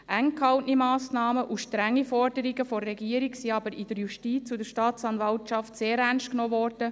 Eng gehaltene Massnahmen und strenge Forderungen der Regierung wurden aber von der Justiz und der Staatsanwaltschaft sehr ernstgenommen.